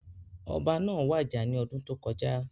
Ọba náà wàjà ní ọdún tó kọjá